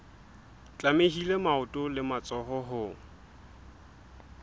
tlamehile maoto le matsoho ho